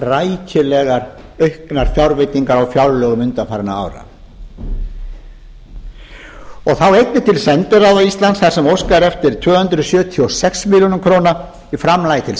rækilega auknar fjárveitingar á fjárlögum undanfarinna ára þá einnig til sendiráða íslands þar sem óskað er eftir tvö hundruð sjötíu og sex milljónir króna í framlagi til